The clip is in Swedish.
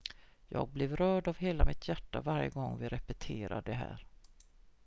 jag blev rörd av hela mitt hjärta varje gång vi repeterade det här